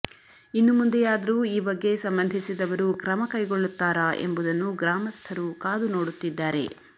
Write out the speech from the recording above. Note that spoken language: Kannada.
ಇನ್ನು ಮುಂದೆಯಾದರೂ ಈ ಬಗ್ಗೆ ಸಂಬಂಧಿಸಿದವರು ಕ್ರಮ ಕೈಗೊಳ್ಳುತ್ತಾರಾ ಎಂಬುದನ್ನು ಗ್ರಾಮಸ್ಥರು ಕಾದು ನೋಡುತ್ತಿದ್ದಾರೆ